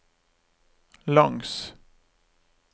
langs